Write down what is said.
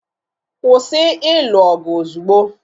Kwụsị ịlụ ọgụ ozugbo!